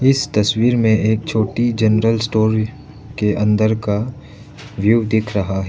इस तस्वीर में एक छोटी जनरल स्टोर के अंदर का व्यू दिख रहा है।